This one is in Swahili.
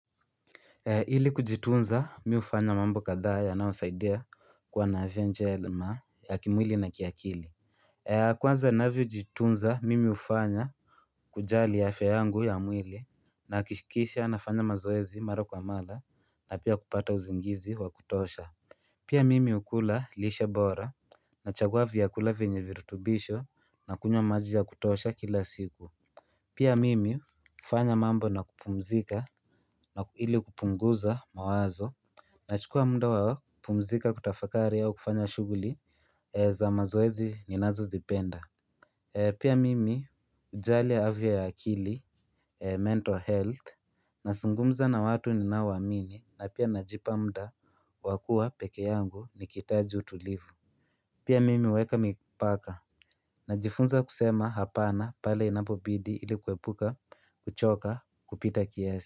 Ili kujitunza mimi hufanya mambo kadhaa yanayosaidia kuwa na afya njema ya kimwili na kiakili Kwanza ninavyojitunza mimi hufanya kujali afya yangu ya mwili na hakishikisha nafanya mazoezi mara kwa mara na pia kupata uzingizi wa kutosha Pia mimi hukula lishe bora na chagua vyakula venye virutubisho na kunywa maji ya kutosha kila siku Pia mimi hufanya mambo na kupumzika na ili kupunguza mawazo Nachukua mda wa kupumzika kutafakari au kufanya shughuli za mazoezi ninazozipenda Pia mimi hujal afya ya akili mental health nazungumza na watu ninaoamini na pia najipa mda wakuwa peke yangu nikihitaji utulivu Pia mimi huweka mipaka Najifunza kusema hapana pale inapobidi ilikuepuka, kuchoka, kupita kiasi.